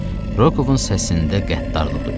Rokoovun səsində qəddarlıq duyulurdu.